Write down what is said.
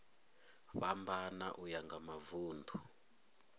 fhambana uya nga mavun ḓu